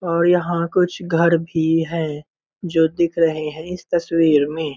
और यहाँ कुछ घर भी हैं जो दिख रहे है इस तस्वीर में।